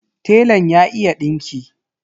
Telan ya iya dinki.